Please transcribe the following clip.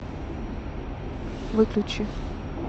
выключи